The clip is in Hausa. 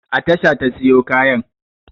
A tasha ta siyo kayan.